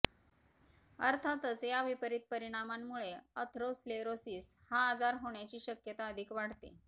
अर्थातच या विपरित परिणामांमुळे अथरोस्लेरोसिस हा आजार होण्याची शक्यता अधिक वाढते